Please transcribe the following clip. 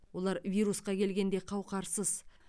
олар вирусқа келгенде қауқарсыз